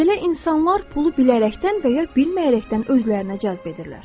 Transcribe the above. Belə insanlar pulu bilərəkdən və ya bilməyərəkdən özlərinə cəzb edirlər.